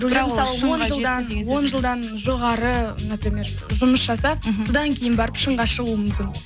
он жылдан он жылдан жоғары например жұмыс жасап содан кейін барып шыңға шығуы мүмкін